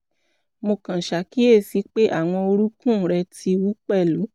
mo kàn ṣàkíyèsí pé àwọn orúnkún rẹ̀ ti wú pẹ̀lú